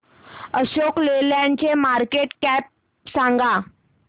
Ashok Leyland ची market cap सांगा